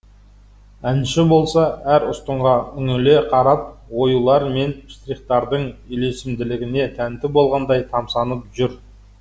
әнші болса әр ұстынға үңіле қарап оюлар мен штрихтардың үйлесімділігіне тәнті болғандай тамсанып жүр